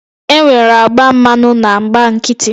Enwere agba mmanụ na agba nkịtị